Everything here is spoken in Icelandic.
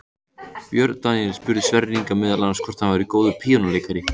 Björn Daníel spurði Sverri Inga meðal annars hvort hann væri góður píanóleikari.